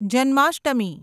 Janmashtami